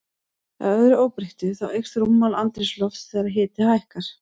Að öðru óbreyttu, þá eykst rúmmál andrúmslofts þegar hiti hækkar.